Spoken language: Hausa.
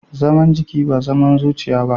Zama jiki ba zama zuciya ba.